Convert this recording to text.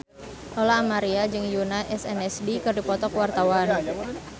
Lola Amaria jeung Yoona SNSD keur dipoto ku wartawan